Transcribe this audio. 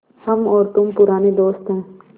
हम और तुम पुराने दोस्त हैं